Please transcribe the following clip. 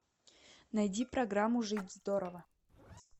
найди программу жить здорово